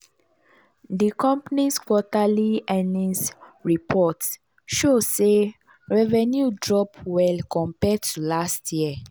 di company's quarterly earnings report show sey revenue drop well compared to last year.